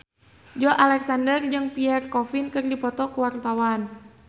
Joey Alexander jeung Pierre Coffin keur dipoto ku wartawan